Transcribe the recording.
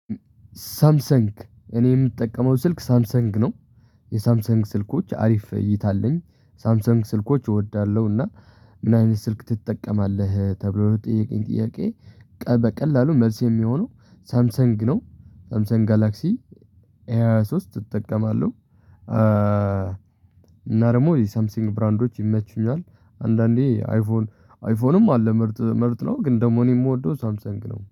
ሳምሰንግ እኔ የምጠቀመው ስልክ ሳምሰንግ ነው። የሳምሰንግ ስልኮች አሪፍ እይታ አለኝ ሳምሰንግ ስልኮች እወዳለሁ። እና ምን አይነት ስልክ ትጠቀማለህ? ተብሎ ለተጠየቀኝ ጥያቄ በቀላሉ መልስ የሚሆነው ሳምሰንግ ነው። ሳምሰንግ ጋላክሲ ኤ ሃያ ሶስት እጠቀማለሁ። እና ደግሞ የሳምቲንግ ብራንዶች ይመቹኛል። አንዳንዴ አይፎን አይፎንም አለ ምርጥ ምርጥ ነው። ግን ደግሞ እኔ የምወደው ሳምሰንግ ነው